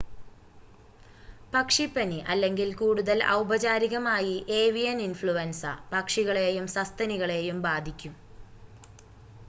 പക്ഷിപ്പനി അല്ലെങ്കിൽ കൂടുതൽ ഔപചാരികമായി ഏവിയൻ ഇൻഫ്ലുവൻസ പക്ഷികളേയും സസ്തനികളെയും ബാധിക്കും